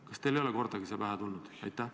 Kas teile ei ole see kordagi pähe tulnud?